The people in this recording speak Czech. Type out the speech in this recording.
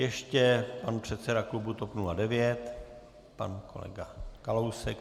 Ještě pan předseda klubu TOP 09, pan kolega Kalousek.